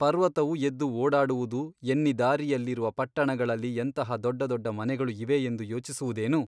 ಪರ್ವತವು ಎದ್ದು ಓಡಾಡುವುದು ಎನ್ನಿ ದಾರಿಯಲ್ಲಿರುವ ಪಟ್ಟಣಗಳಲ್ಲಿ ಎಂತಹ ದೊಡ್ಡ ದೊಡ್ಡ ಮನೆಗಳು ಇವೆ ಎಂದು ಯೊಚಿಸುವುದೇನು ?